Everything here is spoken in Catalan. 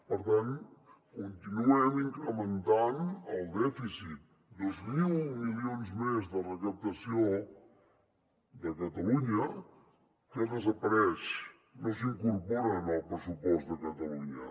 per tant continuem incrementant el dèficit dos mil milions més de recaptació de catalunya que desapareixen no s’incorporen al pressupost de catalunya